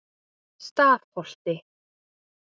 Stafholti